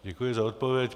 Děkuji za odpověď.